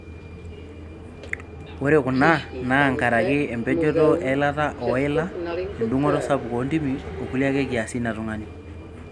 Ore kuna naa nkaraki empejoto eilata ooila, endungoto sapuk oontimi o kulie ake kiasin e tung'ani.